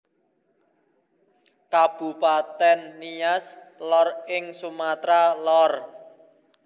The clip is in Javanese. Kabupatèn Nias Lor ing Sumatra Lor